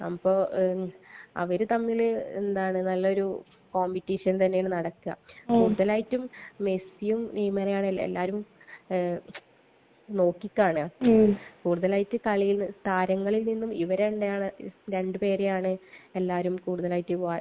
അപ്പൊ അവർ തമ്മിൽ എന്താണ് നല്ലൊരു കോംപെറ്റിഷൻ തന്നെയാണ് നടക്കുക. കൂടുതലായിട്ടും മെസ്സിയും നെയ്മറെയുമാണ് എല്ലാവരും നോക്കി കാണുക. കൂടുതലായിട്ട് കളിയിൽ താരങ്ങളിൽ നിന്നും ഇവർ തന്നെയാണ്...രണ്ട് പേരെയാണ് എല്ലാരും കൂടുതലായിട്ട്